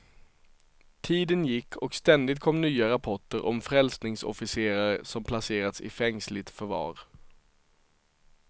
Tiden gick och ständigt kom nya rapporter om frälsningsofficerare som placerats i fängsligt förvar.